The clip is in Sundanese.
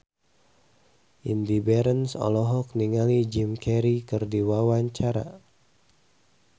Indy Barens olohok ningali Jim Carey keur diwawancara